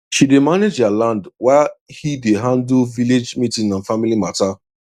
she dey manage their land while he dey handle village meeting and family matter